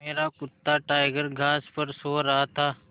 मेरा कुत्ता टाइगर घास पर सो रहा था